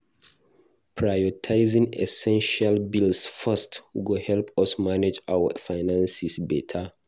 Prioritizing essential bills first go help us manage our finances beta.